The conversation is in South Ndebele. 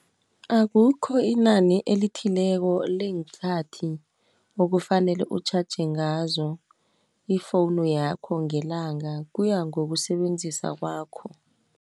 Akukho inani elithileko leenkathi, okufanele utjhatjhe ngazo, ifowunu yakho ngelanga, kuya ngokusebenzisa kwakho.